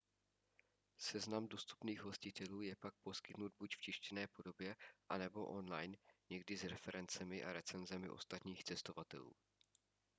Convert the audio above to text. seznam dostupných hostitelů je pak poskytnut buď v tištěné podobě a/nebo online někdy s referencemi a recenzemi ostatních cestovatelů